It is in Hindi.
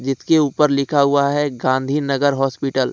इसके ऊपर लिखा हुआ है गांधी नगर हॉस्पिटल ।